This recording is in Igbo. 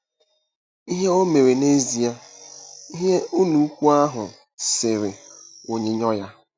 “ Ihe O Mere n’Ezie”—Ihe Ụlọikwuu ahụ sere onyinyo ya